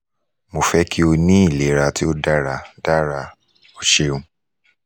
mo fẹ ki o ni ilera to dara dara o ṣeun